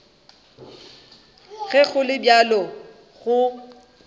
ge go le bjalo go